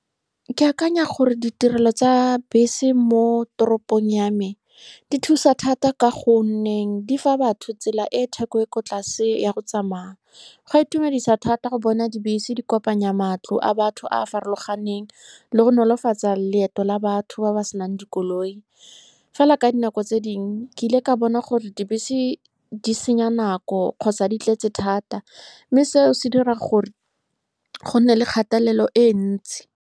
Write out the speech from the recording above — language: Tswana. Ke akanya gore ditirelo tsa bese mo toropong yame di thusa thata, ka gonne di fa batho tsela e e theko e e ko tlase ya go tsamaya. Go a itumedisa thata go bona dibese di kopanya matlo a batho a a farologaneng le go nolofatsa loeto la batho ba ba senang dikoloi. Fela, ka dinako tse dingwe ke ile ka bona gore dibese di senya nako kgotsa di tletse thata, mme seo se dira gore go nne le kgatelelo e ntsi.